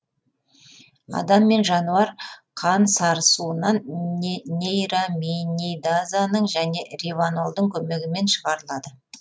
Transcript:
адам және жануар қан сарысуынан нейраминидазаның және риванолдың көмегімен шығарылады